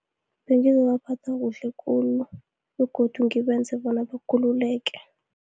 Bengizobaphatha kuhle khulu, begodu ngibenze bona bakhululeke.